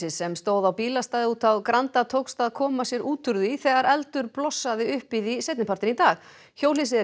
sem stóð á bílastæði úti á Granda tókst að koma sér út úr því þegar eldur blossaði upp í því seinni partinn í dag hjólhýsið er